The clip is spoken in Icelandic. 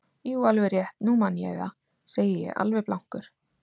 Jú, alveg rétt, nú man ég það, segi ég alveg blankur.